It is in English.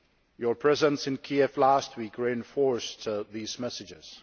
Your presence in Kiev last week reinforced these messages.